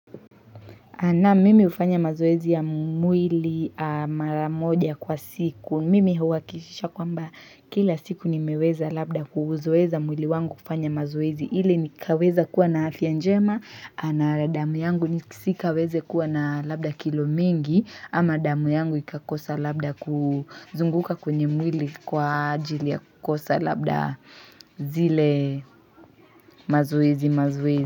Na mimi hufanya mazoezi ya mwili mara moja kwa siku, mimi huwakishisha kwamba kila siku nimeweza labda kuuzoeza mwili wangu kufanya mazoezi. Ili ni kaweza kuwa na afya njema na damu yangu ni si kaweze kuwa na labda kilo mingi ama damu yangu ikakosa labda ku zunguka kwenye mwili kwa ajili ya kukosa labda zile mazoezi mazoez.